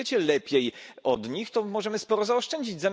Skoro wiecie lepiej od nich, to możemy sporo zaoszczędzić.